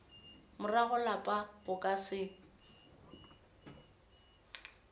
morago lapa o ka se